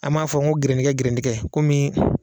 An m'a fɔ ko gɛrɛndingɛ gɛrɛndingɛ komi